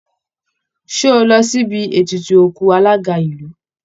Ṣé o lọ síbi ètùtù òkú alága ìlú?